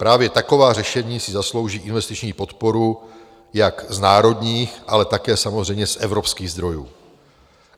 Právě taková řešení si zaslouží investiční podporu jak z národních, ale také samozřejmě z evropských zdrojů.